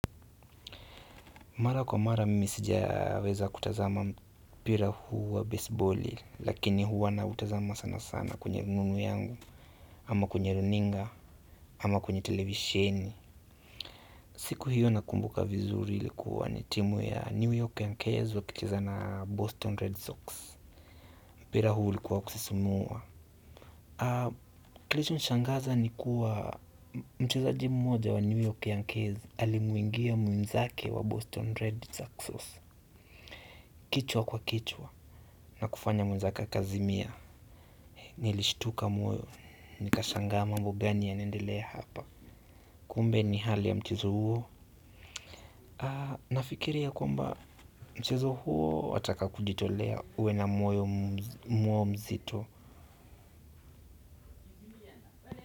Mara kwa mara mimi sijaweza kutazama mpira huu wa baseball lakini huwa nautazama sana sana kwenye rununu yangu ama kwenye runinga, ama kwenye televisheni siku hiyo nakumbuka vizuri ilikuwa ni timu ya New York Yankezi wakicheza na Boston Red Sox mpira huu ulikuwa wa kusisimua. Kilichoshangaza ni kuwa mchezaji mmoja wa New York Yankezi. Alimwingia mwenzake wa Boston Red Sox kichwa kwa kichwa na kufanya mwenzake akazimia nilishtuka moyo, nikashangaa mambo gani yanaendelea hapa. Kumbe ni hali ya mchezo huo nafikiri ya kwamba mchezo huo wataka kujitolea uwe na moyo mwo mzito.